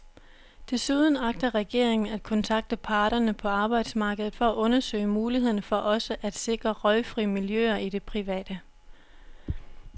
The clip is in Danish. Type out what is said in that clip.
Desuden agter regeringen at kontakte parterne på arbejdsmarkedet for at undersøge mulighederne for også at sikre røgfri miljøer i det private.